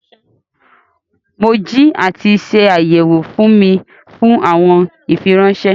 Mo jì àti ṣàyẹwò fún mi fún awọn ìfírànṣẹ.